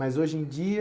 Mas hoje em dia,